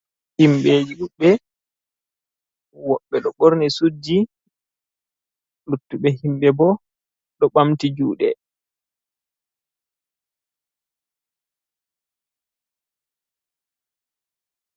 Himɓeji ɗuɗɓe, woɓɓe ɗo borni suudji, luttuɓe himɓe bo ɗo ɓamti juɗe.